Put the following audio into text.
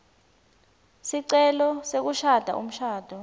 sicelo sekushada umshado